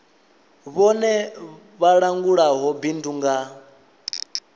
vhone vha langulaho bindu nga